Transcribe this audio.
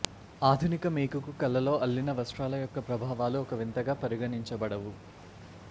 ఆధునిక మేకుకు కళలో అల్లిన వస్త్రాల యొక్క ప్రభావాలు ఒక వింతగా పరిగణించబడవు